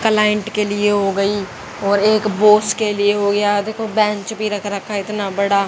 Client के लिए हो गई और एक बॉस के लिए हो गया देखो बेंच भी रख रखा है इतना बड़ा।